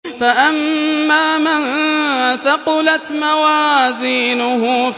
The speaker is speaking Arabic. فَأَمَّا مَن ثَقُلَتْ مَوَازِينُهُ